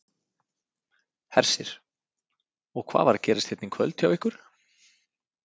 Hersir: Og hvað var að gerast hérna í kvöld hjá ykkur?